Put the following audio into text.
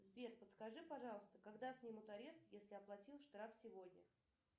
сбер подскажи пожалуйста когда снимут арест если оплатил штраф сегодня